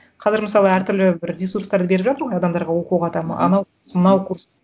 қазір мысалы әр түрлі бір ресурстарды беріп жатыр ғой адамдарға оқуға там анау мынау курс